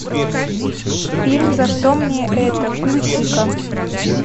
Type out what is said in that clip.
фильм за что мне это включи ка